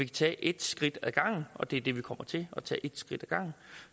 tage et skridt ad gangen og det er det vi kommer til at tage et skridt ad gangen